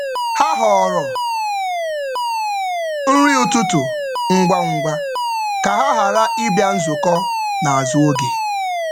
Ha họọrọ nri ụtụtụ ngwa ngwa ka um ha um ghara ịbịa nzukọ n’azụ um oge.